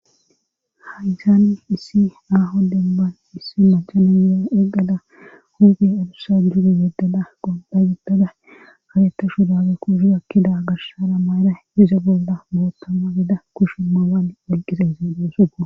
ha7izaanni issi aaho demban issi machanayea eqada huzge adussa juude yeddada qodda yeddada kaletta shudage ku shu akkida garhshara maara iza golda bootamma geda kushu mawan olqisa isindoosua